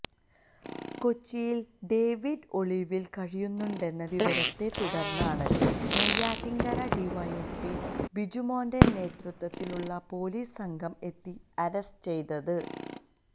കൊച്ചിയില് ഡേവിഡ് ഒളിവില് കഴിയുന്നുണ്ടെന്ന വിവരത്തെ തുടര്ന്നാണ് നെയ്യാറ്റിന്കര ഡിവൈഎസ്പി ബിജുമോന്റെ നേതൃത്വത്തിലുള്ള പോലീസ് സംഘം എത്തി അറസ്റ്റ് ചെയ്തത്